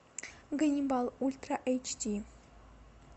ганнибал ультра эйч ди